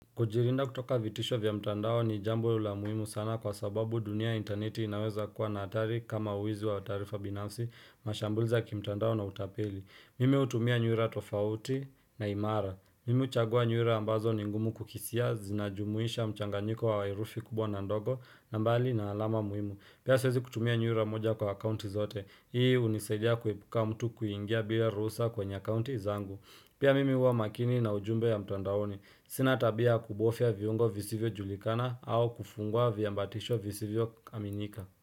Kujilinda kutoka vitisho vya mtandao ni jambo la muhimu sana kwa sababu dunia interneti inaweza kuwa na hatari kama wizi wa taarifa binafsi mashambulizi ya kimtandao na utapeli. Mimi hutumia nyuera tofauti na imara. Mimi huchagua nyuera ambazo ni ngumu kukisia zinajumuisha mchanganyiko wa herufi kubwa na ndogo na mbali na alama muhimu. Pia siwezi kutumia nyuera moja kwa akaunti zote. Hii hunisaidia kuepuka mtu kuingia bila ruhusa kwenye akaunti zangu. Pia mimi huwa makini na ujumbe ya mtandaoni. Sina tabia ya kubofia viungo visivyo julikana au kufunguwa viambatisho visivyo kaminika.